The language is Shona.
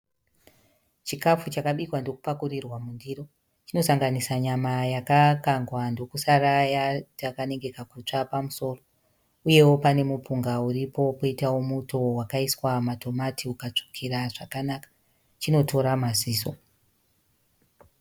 Chikafu chakabikwa ndokupakurirwa mundiro, chinosanganisa nyama yakakangwa ndokusara yaita kanenge kakutsva pamusoro, uyewo pane mupunga uripo poitawo muto wakaiswa madomasi ukatsvukira zvakanaka, chinotora maziso.